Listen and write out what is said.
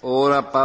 Snaha